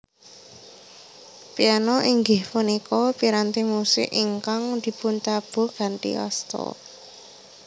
Piano inggih punika piranti musik ingkang dipuntabuh kanthi asta